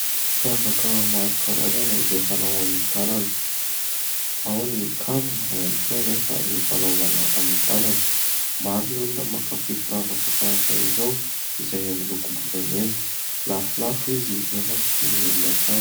Firavaka maro karazana izay fanao amin'ny tanana, ao ny kavina ao ihany koa anefa ny fanaovana amin'ny tanana. Maro ny olona mankafy firavaka tahaka izao izay amin'ny lokom-bolamena, lafolafo izy nefa vidin'ny olona hatrany.